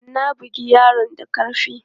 Na bugi yaron da karfi!